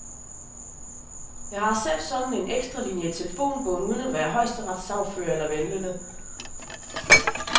Jeg har selv en sådan ekstralinie i telefonbogen uden at være højesteretssagfører eller vellønnet.